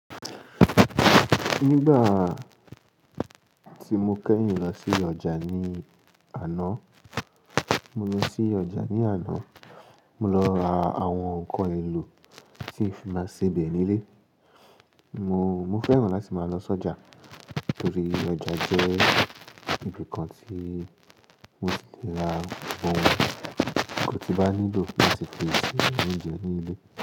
Nígbà tí mo kẹ́yìn lọ sí ọjà ní àná, mo lọ sí ọjà ní àná, mo lọ ra àwọn ǹkan èlò tí ń fi máa sebẹ̀ nílé. Mo, mo fẹ́ràn láti máa lọ sọ́jà torí ọjà jẹ́ ibi kan tí mo ti lè ra ohun tí bá nílò láti fi ṣe oúnjẹ nílé.